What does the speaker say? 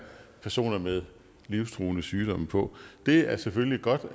personer med livstruende sygdomme på det er selvfølgelig godt